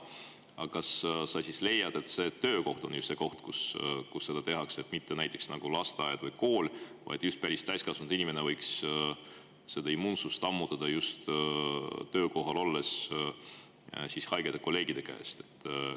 Aga kas sa siis leiad, et töökoht on just see koht, kus seda tehakse, mitte näiteks lasteaed või kool, et täiskasvanud inimene võiks immuunsust ammutada haigete kolleegide käest just töökohas?